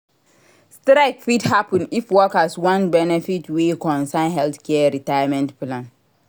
Strike fit happen if workers want benefits wey concern healthcare retirement plan